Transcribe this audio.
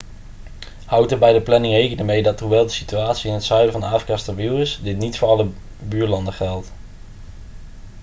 houd er bij de planning rekening mee dat hoewel de situatie in het zuiden van afrika stabiel is dit niet voor alle buurlanden geldt